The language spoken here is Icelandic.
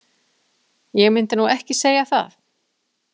Ég myndi nú ekki segja það.